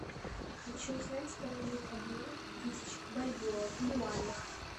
хочу узнать стоимость обмена тысячи бальбоа в юанях